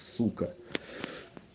сука